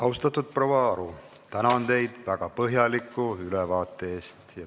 Austatud proua Aru, tänan teid väga põhjaliku ülevaate eest!